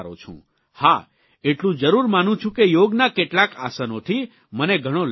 હા એટલું જરૂર માનું છું કે યોગના કેટલાક આસનોથી મને ઘણો લાભ થયો છે